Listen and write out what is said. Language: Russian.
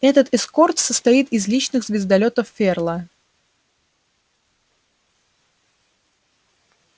этот эскорт состоит из личных звездолётов ферла